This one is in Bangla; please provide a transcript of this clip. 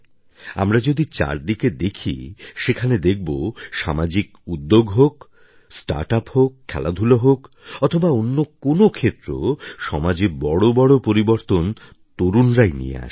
আমরা যদি চারদিকে দেখি সেখানে দেখব সামাজিক উদ্যোগ হোক স্টার্টআপ হোক খেলাধূলা হোক অথবা অন্য কোনও ক্ষেত্র সমাজে বড় বড় পরিবর্তন তরুণরাই নিয়ে আসে